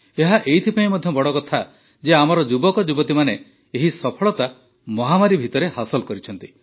ଏହା ଏଇଥିପାଇଁ ମଧ୍ୟ ବଡ଼ କଥା ଯେ ଆମର ଯୁବକଯୁବତୀମାନେ ଏହି ସଫଳତା ମହାମାରୀ ଭିତରେ ହାସଲ କରିଛନ୍ତି